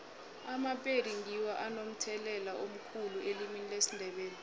amapedi ngiwo anomthelela omkhulu elimini lesindebele